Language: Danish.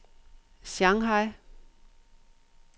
Shanghai